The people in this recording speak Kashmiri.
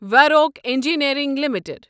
Warwick engineering limited